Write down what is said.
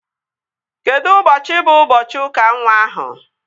Kedụ ụbọchị bụ ụbọchị ụka nwa ahụ?